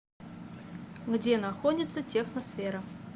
где находится техносфера